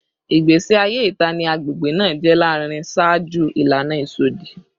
Igbesi aye ita ni agbegbe naa jẹ larinrin ṣaaju ilana isọdi